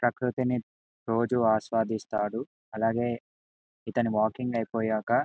ప్రకృతిని రోజు ఆస్వాదిసాడు అలాగే ఇతని వాకింగ్ ఐపోయాక